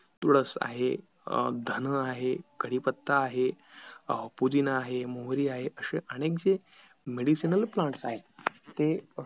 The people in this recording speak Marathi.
तुळस आहे अं धन आहे कडीपत्ता आहे पुदिना आहे मोहरी आहे असे अनेकसे medicinal plants आहेत ते